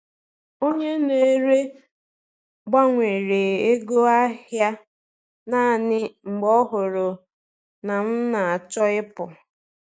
Onye na-ere gbanwere ego ahị a naanị mgbe ọ hụrụ na m na-achọ ịpụ.